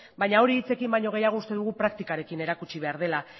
baina hori hitzekin baino gehiago uste dugu praktikarekin erakutsi behar dela